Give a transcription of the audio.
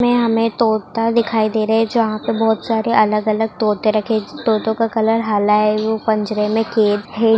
में हमें तोता दिखाई दे रहे हैं जहाँ पर बहुत सारे अलग-अलग तोता रखें तोतों का कलर हला है वो पिंजड़े में कैद है।